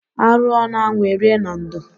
Arụọ n'anwụ erie na ndo.